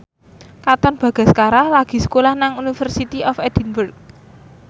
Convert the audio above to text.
Katon Bagaskara lagi sekolah nang University of Edinburgh